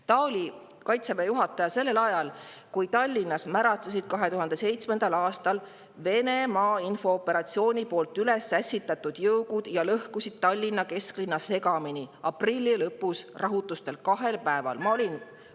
Ta oli Kaitseväe juhataja, kui Tallinnas 2007. aastal märatsesid Venemaa infooperatsiooni poolt üles ässitatud jõugud ja lõhkusid Tallinna kesklinna aprilli lõpu rahutustes kahel päeval segamini.